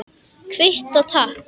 Kvitta, takk!